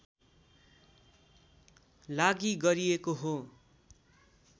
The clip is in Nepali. लागि गरिएको हो